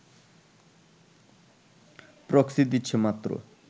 proxy দিচ্ছে মাত্র